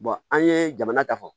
an ye jamana ta fɔ